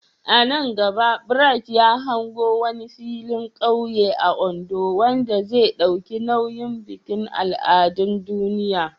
A nan gaba, Bright ya hango wani filin kauye a Ondo wanda zai dauki nauyin bikin al'adun duniya.